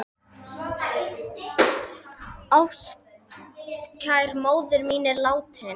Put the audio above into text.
Ástkær móðir mín er látin.